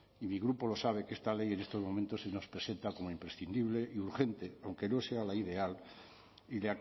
y mi grupo lo sabe que esta ley en estos momentos se nos presenta como imprescindible y urgente aunque no sea la ideal y